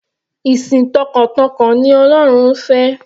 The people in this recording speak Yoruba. Ìsìn t'ọkàntọkàn ni ọlọ́run ń fẹ́.